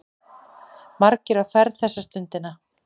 Margir á ferð þessa stundina.